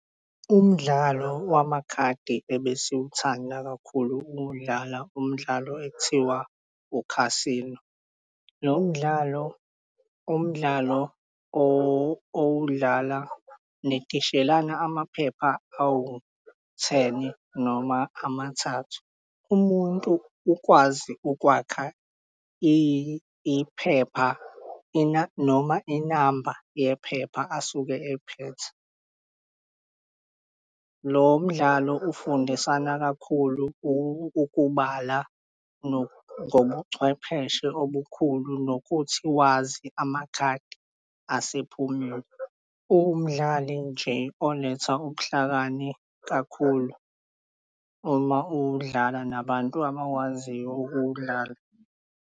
Umdlalo wamakhadi ebesiwuthanda kakhulu ukuwudlala umdlalo ekuthiwa u-casino. Lo mdlalo umdlalo owudlala, nitishelana amaphepha awu-ten noma amathathu. Umuntu ukwazi ukwakha iphepha noma inamba yephepha asuke ephethe. Lo mdlalo ufundisana kakhulu ukubala ngobuchwepheshe obukhulu nokuthi wazi amakhadi asephumile. Umdlali nje oletha ubuhlakani kakhulu uma udlala nabantu abawaziyo ukuwudlala.